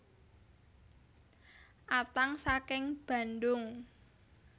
Atang saking Bandung